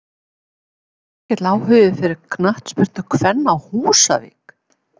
Er mikill áhugi fyrir knattspyrnu kvenna á Húsavík?